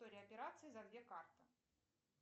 история операций за две карты